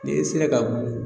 Ni e sera ka